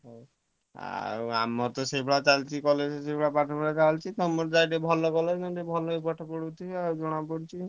ହଉ ଆଉ ଆମର ତ ଚାଲିଛି ସେଇଭଳିଆ college ରେ ପାଠପଢା ଚାଲିଛି ଆଉ ତମର ତ ଭଲ college ଭଲକି ପାଠ ପଢୁଥିବ ଆଉ ଜଣା ପଡୁଛି।